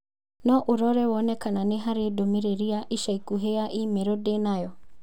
no ũrore wone kana nĩ harĩ ndũmĩrĩri ya ica ikuhĩ ya i-mīrū ndĩ nayo